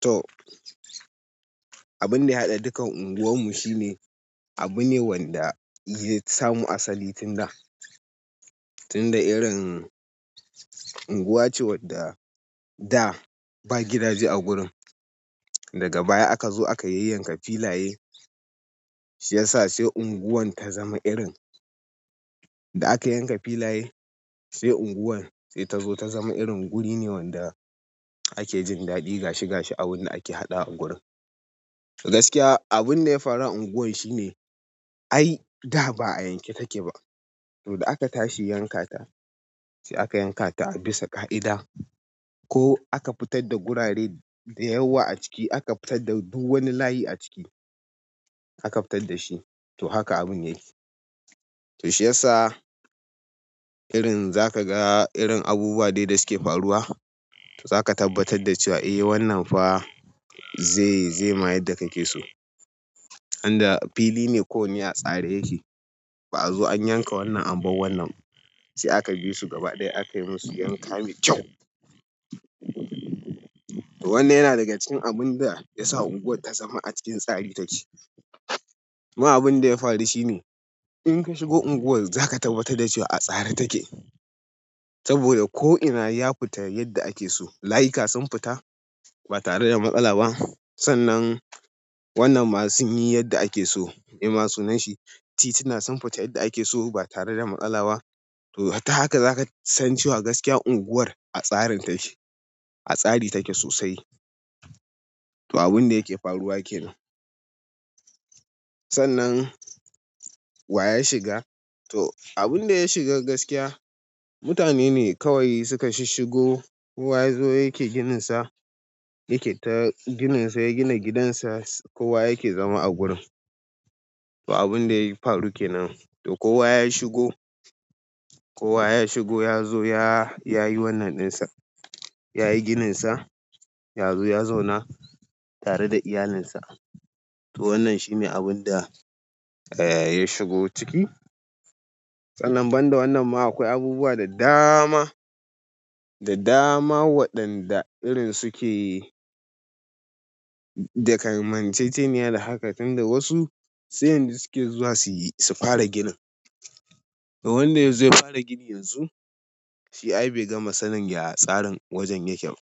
To, abin da ya haɗa dukan unguwan mu shine abu ne wanda ya samu asali tun da, tun da irin unguwa ce wadda da ba gidaje a gurin. Daga baya aka zo aka yayyanka filaye, shi ya sa sai unguwar ta zama irin da aka yanka filaye, sai unguwar sai ta zo ta zama irin guri ne wanda ake jin daɗi gashi gashi abin da ake haɗawa a gurin. Gaskiya abun da ya faru a unguwar shine ai da ba a yanke take ba. To da aka tashi yankata, sai aka yankata a bisa ƙa'ida. Ko aka fitar da gurare da yawa a ciki, aka fitar da duk wani layi a ciki, aka fitar da shi. To haka abun yayi. To shi ya sa irin za ka ga irin abubuwa dai da suke faruwa, to za ka tabbatar da cewa eh wannan fa zai, zai ma yadda ake so. Inda fili ne ko wanne a tsare yake, ba'a zo an yanka wannan, an bar wannan. Sai aka bi su gaba ɗaya aka yi musu yanka me kyau. Wannan yana daga cikin abun da ya sa unguwar ta zama a cikin tsari take. Kuma abin da ya faru shi ne in ka shigo unguwar za ka tabbatar da cewa a tsare take. Saboda ko ina ya fita yadda ake so, layuka sun fita, ba tare da matsala ba, sannan wannan ma sunyi yadda ake so, me ma sunanshi, titi na sun fita yadda ake so ba tare da matsala ba. To hatta haka za ka san cewa gaskiya unguwar a tsarin take, a tsari take sosai. To abun da yake faruwa kenan. Sannan wa ya shiga, to abin da ya shiga gaskiya, mutane ne kawai suka shishiggo kowa ya zo yake gininsa, yake ta gininsa, ya gina gidansa. Kowa yake zama a gurin. To abun da ya faru kenan. To kowa ya shigo, kowa ya shigo ya zo ya, ya yi wannan ɗinsa. Ya yi gininsa, ya zo ya zauna tare da iyalinsa. To wannan shi ne abun da ya shigo ciki. Sannan banda wannan ma akwai abubuwa da dama, da dama waɗanda irin suke, da kanmanceceniya da haka, tun da wasu sai yanzu suke zuwa su yi, su fara ginin. To wanda ya zo ya fara gini yanzu, shi ai bai gama sanin yaya tsarin wajen yake ba.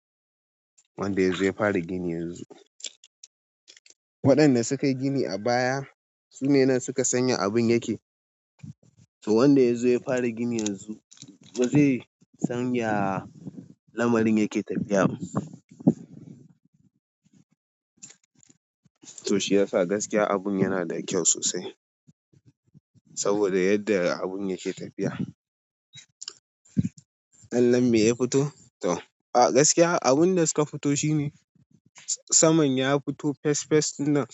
Wanda ya zo ya fara gini yanzu. Waɗanda suka yi gini a baya su ne nan suka san ya abin yake. To wanda ya zo ya fara gini yanzu ba zai san ya lamarin yake tafiya ba. To shi ya sa gaskiya abun yana da kyau sosai. Saboda yadda abun yake tafiya. Allon me ya fito? To a gaskiya abun da suka fito shi ne saman ya fito fes fes na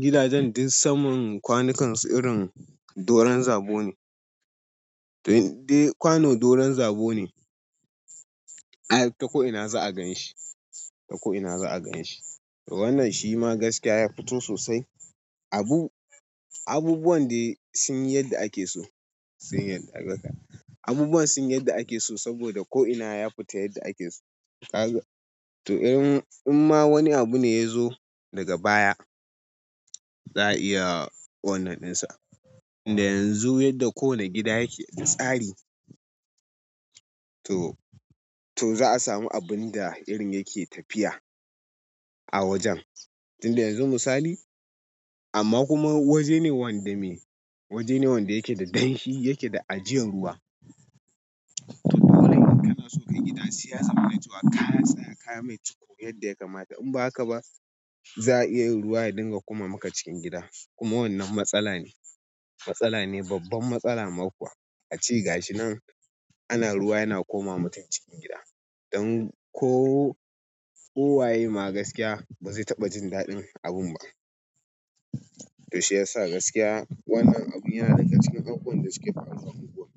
gidajen ɗuk saman kwanukan su irin doron zabo ne. To dai kwano doron zabo ne. Ai ta ko'ina za a ganshi, ta ko'ina za a ganshi. To wannan shi ma gaskiya ya fito sosai. Abu, abubuwan dai sun yi yadda ake so, sun yi yadda aka. Abubuwan sun yi yadda ake so saboda ko'ina ya fita yadda ake so. To in, in ma wani abu ne ya zo daga baya, za a iya wannan ɗinsa. Tunda yanzu yadda kowani gida yake da tsari. To, to za a samu abinda irin yake tafiya a wajen tun da yanzu misali amma kuma wajene wanda me, wajene wanda yake da danshi, yake da ajiyan ruwa. To dole ne in kana so ka yi gida, sai ya zamana cewa ka tsaya kayi mai ciko yadda ya kamata. In ba haka ba za a iya yin ruwa ya dinga koma maka cikin gida. Kuma wannan matsala ne. Matsala ne, babban matsala ma kuwa. Ace gashi nan ana ruwa yana komawa mutum cikin gida. Dan ko ko waye ma gaskiya ba zai taɓa jin daɗin abin ba. To shi ya sa gaskiya wannan abu yana daga cikin abubuwan da suke faruwa a unguwar.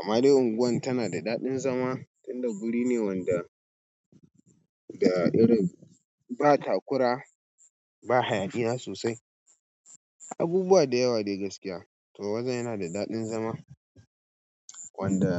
Amma dai unguwar tana da daɗin zama tun da guri ne wanda da irin ba takura ba hayaniya sosai. Abubuwa da yawa dai gaskiya. To wajen yana da daɗin zama. Wanda.